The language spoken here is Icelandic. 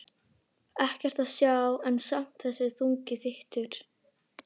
Ég er enn í einangrun og allur póstur ritskoðaður.